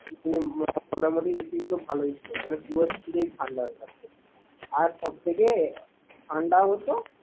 মোটামোটি AC গুলো ভালোই ছিল। মানে ঠান্ডা হয়ে থাকতো। আর প্রত্যেকে ঠান্ডাও হতো